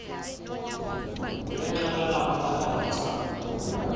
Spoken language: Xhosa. ulinxibe labonakala gca